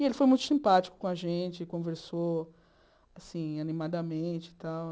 E ele foi muito simpático com a gente, conversou, assim, animadamente e tal.